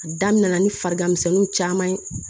A daminɛ na ni farigan misɛnninw caman ye